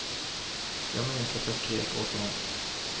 Jag minns att jag skrek åt honom.